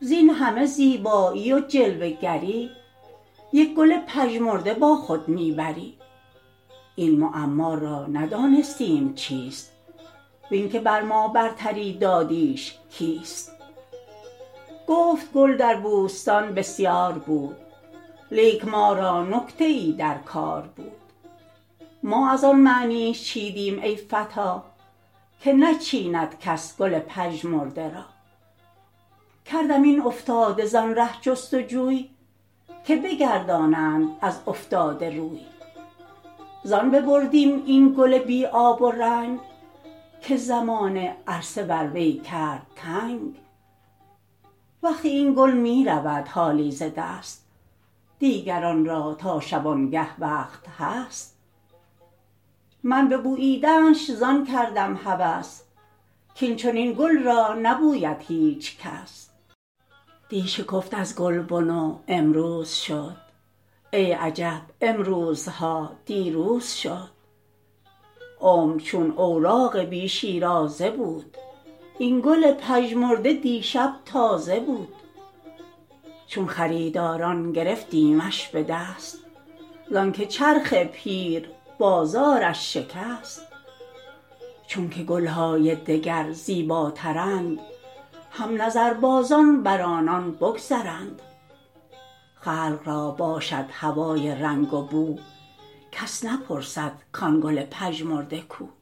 زین همه زیبایی و جلوه گری یک گل پژمرده با خود میبری این معما را ندانستیم چیست وینکه بر ما برتری دادیش کیست گفت گل در بوستان بسیار بود لیک ما را نکته ای در کار بود ما از آن معنیش چیدیم ای فتی که نچیند کس گل پژمرده را کردم این افتاده زان ره جستجوی که بگردانند از افتاده روی زان ببردیم این گل بی آب و رنگ که زمانه عرصه بر وی کرد تنگ وقت این گل میرود حالی ز دست دیگران را تا شبانگه وقت هست من ببوییدنش زان کردم هوس کاین چنین گل را نبوید هیچ کس دی شکفت از گلبن و امروز شد ای عجب امروزها دیروز شد عمر چون اوراق بی شیرازه بود این گل پژمرده دیشب تازه بود چون خریداران گرفتیمش بدست زانکه چرخ پیر بازارش شکست چونکه گلهای دگر زیباترند هم نظربازان بر آن بگذرند خلق را باشد هوای رنگ و بو کس نپرسد کان گل پژمرده کو